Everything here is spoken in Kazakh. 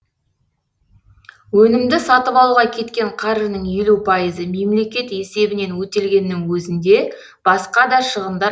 өнімді сатып алуға кеткен қаржының елу пайызы мемлекет есебінен өтелгеннің өзінде басқа да шығындар